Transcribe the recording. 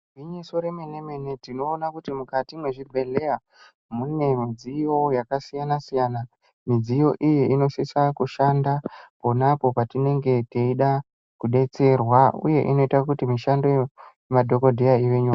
Gwinyiso remene tinoona kuti mukati mezvibhehleya mune midziyo yakasiyana siyana, midziyo iyi inosisa kushanda ponapo patinenge teida kudetserwa uye inoita kuti mishando yemadhokodheya ive nyore.